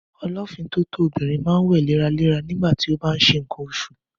Ọlọ́fiǹtótó obìrin ma ńwè léra léra nígbàtí o bá nṣe ńǹkan oṣù